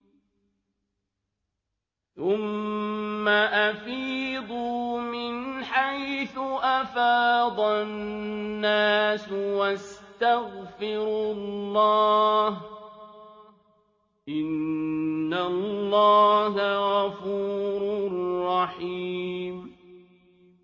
ثُمَّ أَفِيضُوا مِنْ حَيْثُ أَفَاضَ النَّاسُ وَاسْتَغْفِرُوا اللَّهَ ۚ إِنَّ اللَّهَ غَفُورٌ رَّحِيمٌ